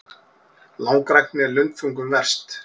Langrækni er lundþungum verst.